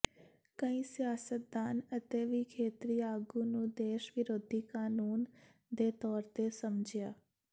ਕਈ ਸਿਆਸਤਦਾਨ ਅਤੇ ਵੀ ਖੇਤਰੀ ਆਗੂ ਨੂੰ ਦੇਸ਼ ਵਿਰੋਧੀ ਕਾਨੂੰਨ ਦੇ ਤੌਰ ਤੇ ਸਮਝਿਆ